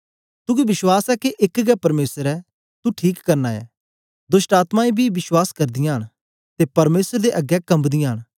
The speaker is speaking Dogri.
तुगी विश्वास ऐ के एक गै परमेसर ऐ तू ठीक करना ऐ दोष्टआत्मायें बी विश्वास करदीयां न ते परमेसर दे अगें कम्बदीयां न